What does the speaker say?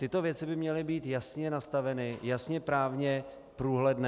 Tyto věci by měly být jasně nastaveny, jasně právně průhledné.